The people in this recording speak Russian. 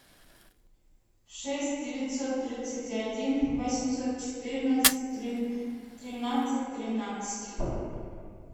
шесть девятьсот тридцать один восемьсот четырнадцать тринадцать тринадцать